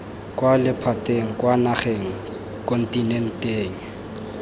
kwa lephateng kwa nageng kontinenteng